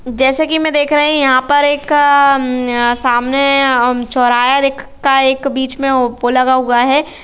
जैसे की मै देख रही यहाँ पर एक आआआ सामने अअअ चोहरहा का एक बीच में ओपो लगा हुआ है।